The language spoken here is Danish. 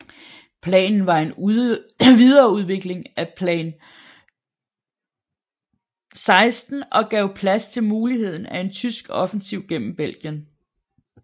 Planen var en videreudvikling af Plan XVI og gav plads til muligheden af en tyske offensiv gennem Belgien